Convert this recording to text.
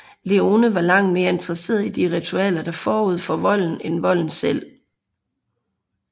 Leone var langt mere interesseret i de ritualer der gik forud for volden end volden i sig selv